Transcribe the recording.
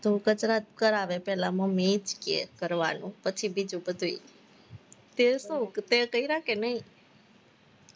ધુહ-કચરા તો કરાવે પેલા મમ્મી ઈ જ કે કરવાનું પછી બીજું બધું તે શું, તે કર્યા કે નહીં?